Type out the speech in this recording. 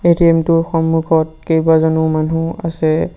ATM টোৰ সন্মুখত কেইবাজনো মানুহ আছে।